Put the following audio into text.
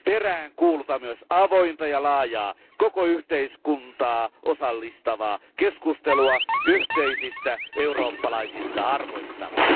Peräänkuulutan myös avointa ja laajaa, koko yhteiskuntaa osallistavaa keskustelua yhteisistä eurooppalaisista arvoistamme.